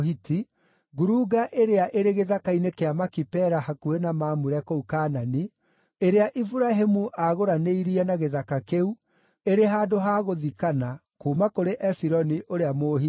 ngurunga ĩrĩa ĩrĩ gĩthaka-inĩ kĩa Makipela hakuhĩ na Mamure kũu Kaanani, ĩrĩa Iburahĩmu aagũranĩirie na gĩthaka kĩu, ĩrĩ handũ ha gũthikana, kuuma kũrĩ Efironi ũrĩa Mũhiti.